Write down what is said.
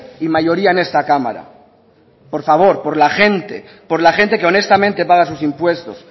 y mayoría en esta cámara por favor por la gente por la gente que honestamente paga sus impuestos